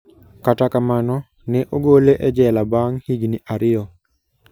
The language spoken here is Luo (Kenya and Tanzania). Kata kamano, ne ogole e jela bang' higini ariyo.